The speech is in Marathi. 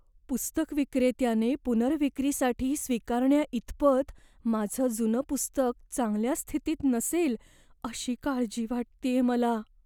पुस्तक विक्रेत्याने पुनर्विक्रीसाठी स्वीकारण्याइतपत माझं जुनं पुस्तक चांगल्या स्थितीत नसेल अशी काळजी वाटतेय मला.